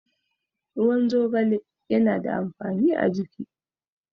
Ruwan zogale yana da amfani a jiki.